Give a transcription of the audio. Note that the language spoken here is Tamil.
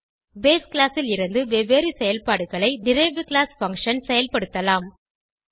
பேஸ் கிளாஸ் லிருந்து வெவ்வேறு செயல்பாடுகளை டெரைவ்ட் கிளாஸ் பங்ஷன் செயல்படுத்தலாம்